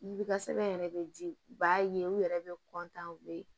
Yiri ka sɛbɛn yɛrɛ bɛ di u b'a ye u yɛrɛ bɛ u bɛ